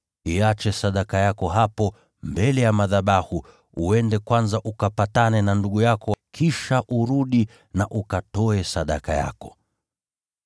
iache sadaka yako hapo mbele ya madhabahu. Enda kwanza ukapatane na ndugu yako; kisha urudi na ukatoe sadaka yako.